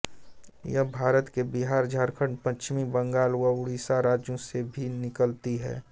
यह भारत के बिहार झारखंड पश्चिम बंगाल व उड़ीसा राज्यों से भी निकलती है